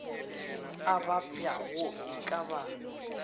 a babjago e ka ba